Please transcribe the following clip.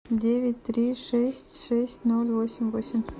девять три шесть шесть ноль восемь восемь